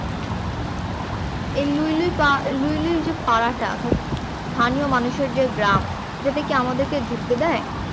এই লুইলুই পা এই লুইলুই যে পারা টা অর্থাৎ স্থানীয় মানুষের যে গ্রাম এটাতে কি আমাদের কে ঢুকতে দেয়